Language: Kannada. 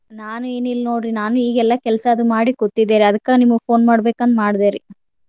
ನಾನು ಏನಿಲ್ಲ ನೋಡ್ರಿ ನಾನು ಈಗೆಲ್ಲಾ ಕೆಲ್ಸಾ ಅದು ಮಾಡಿ ಕೂತಿದ್ದೆರಿ ಅದ್ಕ ನಿಮಗ್ phone ಮಾಡ್ಬೇಕಂತ್ ಮಾಡದೆರಿ.